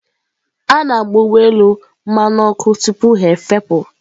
A na-agba ụgbọ elu mmanụ ọkụ tupu ha efepụ.